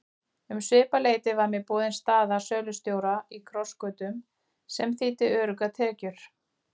Um svipað leyti var mér boðin staða sölustjóra í Krossgötum sem þýddi öruggar tekjur.